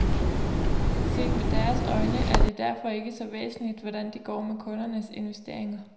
Set med deres øjne er det derfor ikke så væsentligt, hvordan det går med kundernes investeringer.